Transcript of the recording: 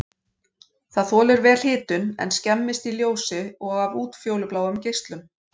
Það þolir vel hitun en skemmist í ljósi og af útfjólubláum geislum.